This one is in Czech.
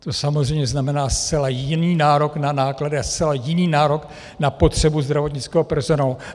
To samozřejmě znamená zcela jiný nárok na náklady a zcela jiný nárok na potřebu zdravotnického personálu.